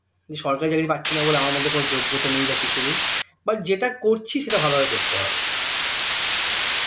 সরকারি চাকরি পাচ্ছি না বলে আমার মধ্যে কোনো যোগ্যতা নেই বা কিছু নেই but যেটা করছি সেটা ভালো ভাবে করতে হবে